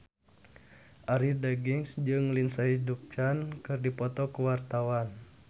Arie Daginks jeung Lindsay Ducan keur dipoto ku wartawan